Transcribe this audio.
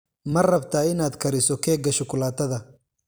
Ma rabtaa inaad kariso keega shukulaatada?